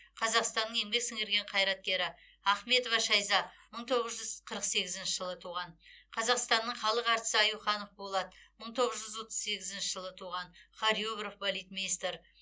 қазақстанның еңбек сіңірген қайраткері ахметова шайза мың тоғыз жүз қырық сегізінші жылы туған қазақстанның халық әртісі аюханов болат мың тоғыз жүз отыз сегізінші жылы туған хореограф балетмейстер